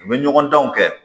U bɛ ɲɔgɔn danw kɛ